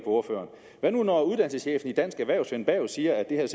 ordføreren hvad nu når uddannelseschefen i dansk erhverv svend berg siger at det her